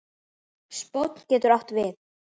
Spónn getur átt við